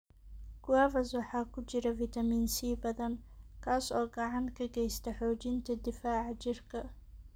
Guavas waxaa ku jira fiitamiin C badan, kaas oo gacan ka geysta xoojinta difaaca jirka.